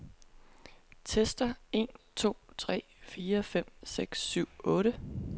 Tester en to tre fire fem seks syv otte.